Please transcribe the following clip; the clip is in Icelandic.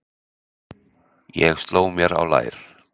Ég sló mér á lær